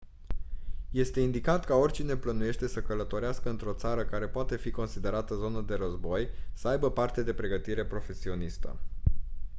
este indicat ca oricine plănuiește să călătorească într-o țară care poate fi considerată zonă de război să aibă parte de pregătire profesionistă